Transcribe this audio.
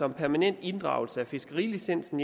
om permanent inddragelse af fiskerilicensen